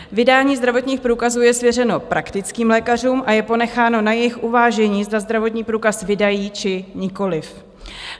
Vydání zdravotních průkazů je svěřeno praktickým lékařům a je ponecháno na jejich uvážení, zda zdravotní průkaz vydají, či nikoliv.